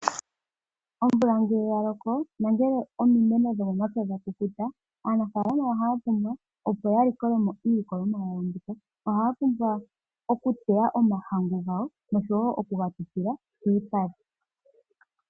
Omvula ngele yaloko nangele omimeno dhomomapya dhakukuta, aanafaalama ohaya pumbwa opo yalikolemo iilikolomwa yawo mbika. Ohaya pumbwa okuteya omahangu gawo nosho wo okugatutila piipale.